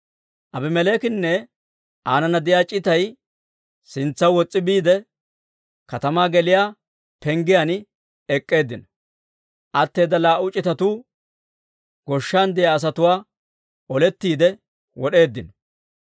Aabimeleekinne aanana de'iyaa c'itay sintsaw wos's'i biide, katamaa geliyaa penggiyaan ek'k'eeddinno; atteeda laa"u c'itatuu goshshan de'iyaa asatuwaa olettiide wod'eeddino.